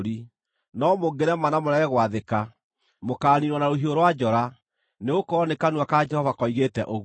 no mũngĩrema na mũrege gwathĩka, mũkaaniinwo na rũhiũ rwa njora.” Nĩgũkorwo nĩ kanua ka Jehova koigĩte ũguo.